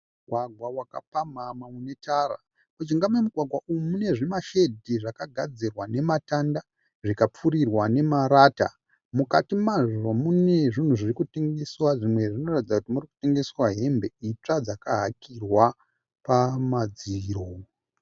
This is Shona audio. Mugwagwa wakapamhamha unetara. Mujinga momugwagwa umu mune zvimashedhi zvakagadzirwa nematanda zvikapfurirwa nemarata. Mukati mazvo mune zvunhu zviri kutengeswa zvimwe zvinotaridza kuri mune hembe itsva dziri kutengeswa dzakahakirwa pamadziro.